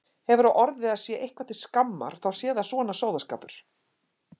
Hefur á orði að sé eitthvað til skammar þá sé það svona sóðaskapur.